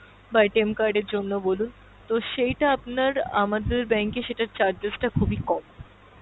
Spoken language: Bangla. বা card এর জন্য বলুন তো সেইটা আপনার আমাদের bank এ সেটার charges টা খুবই কম।